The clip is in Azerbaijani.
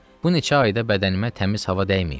Bu neçə ayda bədənimə təmiz hava dəyməyib.